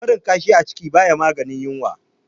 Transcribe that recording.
Barin kashi a ciki baya maganin yunwa